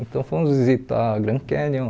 Então fomos visitar Grand Canyon,